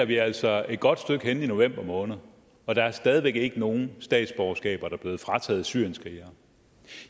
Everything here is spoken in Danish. vi altså et godt stykke hen i november måned og der er stadig væk ikke nogen statsborgerskaber der er blevet frataget syrienskrigere